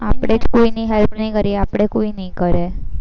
આપણે જ કોઈની help ની કરીએ, તો આપણી કોઈ ની કરે.